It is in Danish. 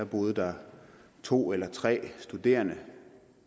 boede der to eller tre studerende